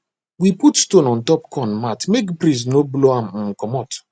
we put stone on top corn mat make breeze no blow am um comot